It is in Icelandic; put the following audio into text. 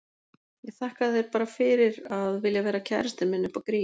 Ég þakka þér bara fyrir að vilja vera kærastinn minn upp á grín.